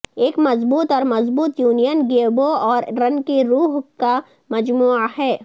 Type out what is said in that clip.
ایک مضبوط اور مضبوط یونین گیبو اور رن کی روح کا مجموعہ ہے